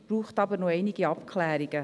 Es bräuchte aber noch einige Abklärungen.